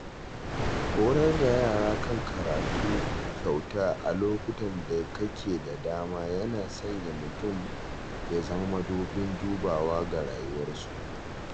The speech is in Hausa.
Horar da yara kan karatu kyauta a lokutan da kake da dama yana sanya mutum ya zama madubin dubawa ga rayuwar su.